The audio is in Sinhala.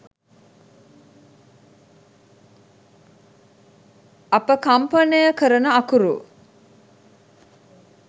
අප කම්පනය කරන අකුරු